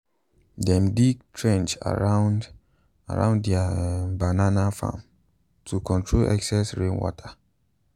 dem dig trench around around their um banana farm to control excess rainwater.